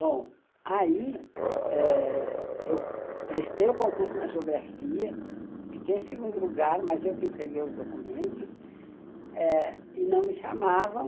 Bom, aí eh eu prestei o concurso na geografia, fiquei em segundo lugar, mas eu que entreguei os documentos e não me chamavam.